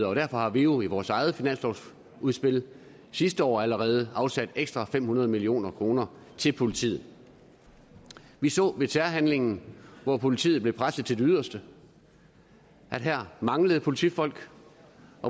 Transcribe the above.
og derfor har vi jo i vores eget finanslovsudspil sidste år allerede afsat ekstra fem hundrede million kroner til politiet vi så ved terrorhandlingen hvor politiet blev presset til det yderste at der manglede politifolk